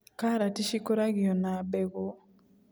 Karati cikũragio na mbegũ.